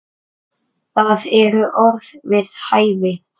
Það eru orð við hæfi.